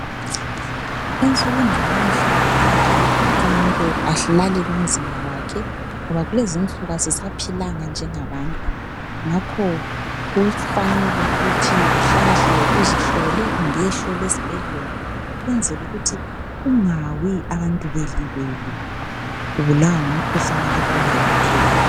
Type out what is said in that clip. Ensukwini zanamuhla kuqakathekile ukuthi umuntu alalele umzimba wakhe ngoba kulezinsuku asisaphilanga njengabantu , ngakho kufanele ukuthi uhlala hlale uzihlole kumbe uyehlolwa esibhedlela ukwenzela ukuthi ungawi abantu belibele ubulawa ngumkhuhlane akade ungelapheka.